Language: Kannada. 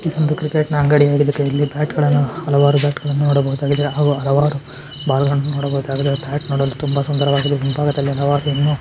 ಇದೊಂದು ಕ್ರಿಕೆಟ್ ನ ಅಂಗಡಿಯಾಗಿದ್ದಕ್ಕೆ ಇಲ್ಲಿ ಬ್ಯಾಟ್ಗಳನ್ನ ಹಲವಾರು ಬ್ಯಾಟ್ಗಳನ್ನ ನೋಡಬಹುದಾಗಿದೆ ಹಾಗೂ ಹಲವಾರು ಬಾಲ್ಗಳ್ನ್ನು ನೋಡಬಹುದಾಗಿದೆ ಬ್ಯಾಟ್ ನೋಡಲು ತುಂಬಾ ಸುಂದರವಾಗಿದೆ ಮುಂಭಾಗದಲ್ಲಿ ಹಲವಾರು ಇನ್ನೂ--